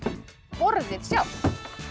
borðið sjálft